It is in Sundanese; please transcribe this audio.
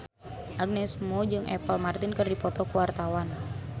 Agnes Mo jeung Apple Martin keur dipoto ku wartawan